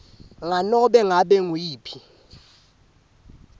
nganobe ngabe nguyiphi